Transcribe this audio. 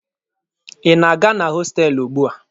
Ị na-aga na hostelụ ugbua?